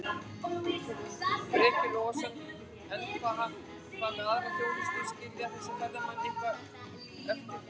Breki Logason: En hvað með aðra þjónustu, skilja þessir ferðamenn eitthvað eftir?